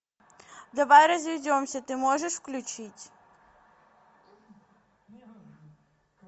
давай разведемся ты можешь включить